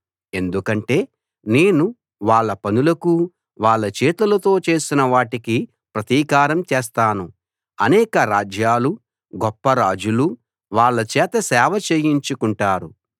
ఎందుకంటే నేను వాళ్ళ పనులకూ వాళ్ళు చేతులతో చేసిన వాటికీ ప్రతీకారం చేస్తాను అనేక రాజ్యాలూ గొప్ప రాజులూ వాళ్ళ చేత సేవ చేయించుకుంటారు